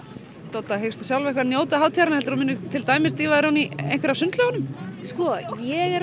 Dodda sjálf eitthvað njóta hátíðarinnar munir til dæmis dýfa þér ofan í einhverja af sundlaugunum sko ég er